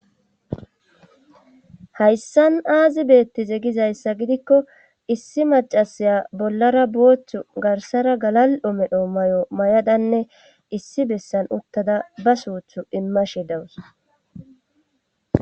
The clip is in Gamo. Hayssan aazi beettize gizayssa gidikko issi macasiya bollara booththu garsara galal7o medho may7o may7adanne issi bessan uttada ba suuthu imma shi dawus.